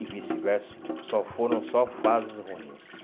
E vice-versa, só foram só fases ruins.